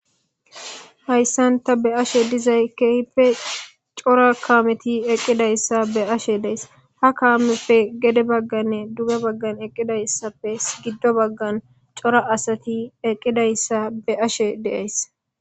hayssanta be ashe dizay keehipe cora kaameti eqqidayssa be ashe dees ha kaamepfe gede bagganne duge baggan eqqidayssappe giddo baggan cora asati eqqidayssa be ashe deayss